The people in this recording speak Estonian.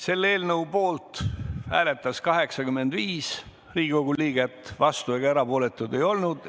Selle eelnõu poolt hääletas 85 Riigikogu liiget, vastuolijaid ega erapooletuid ei olnud.